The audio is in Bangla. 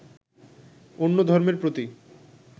অন্য ধর্মের প্রতি